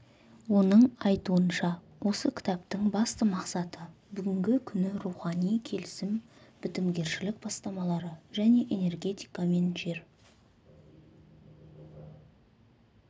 оның айтуынша осы кітаптың басты мақсаты бүгінгі күні рухани келісім бітімгершілік бастамалары және энергетика мен жер